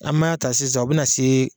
An b'a ta sisan , o bɛna se